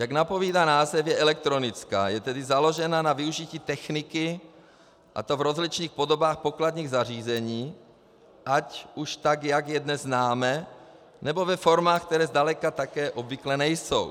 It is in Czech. Jak napovídá název, je elektronická, je tedy založena na využití techniky, a to v rozličných podobách pokladních zařízení, ať už tak, jak je dnes známe, nebo ve formách, které zdaleka tak obvyklé nejsou.